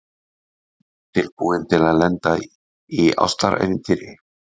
Tilbúin til að lenda í ástarævintýri